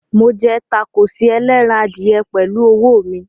Mo jẹ tákóòsì ẹlẹ́ran adìyẹ pẹ̀lú ọwọ́ mi.